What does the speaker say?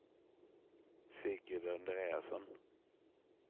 Sigrid Andreasson